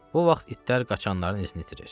Bu vaxt itlər qaçanların izini itirir.